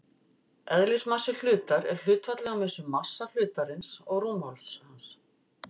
Eðlismassi hlutar er hlutfallið á milli massa hlutarins og rúmmáls hans.